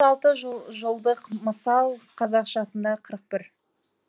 алты жолдық мысал қазақшасында қырық бір